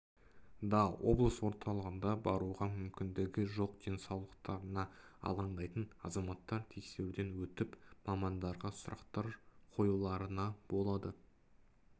да облыс орталығына баруға мүмкіндігі жоқ денсаулықтарына алаңдайтын азаматтар тексеруден өтіп мамандарға сұрақтар қоюларына болады